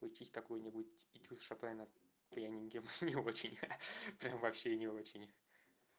уйти с какой-нибудь и туз шопена пьяненьким не очень ха-ха прям вообще не очень